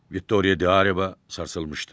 Viktoria Di Areva sarsılmışdı.